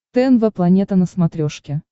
тнв планета на смотрешке